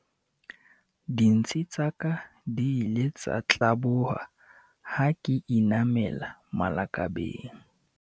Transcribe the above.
dintshi tsa ka di ile tsa tlaboha ha ke inamela malakabeng